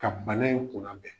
Ka bana in kunna bɛn